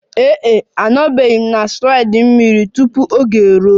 Ee e, anọbeghị m na slide mmiri tupu oge eruo.